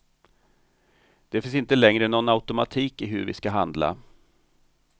Det finns inte längre någon automatik i hur vi ska handla.